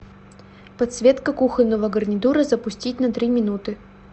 подсветка кухонного гарнитура запустить на три минуты